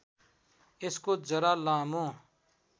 यस्को जरा लामो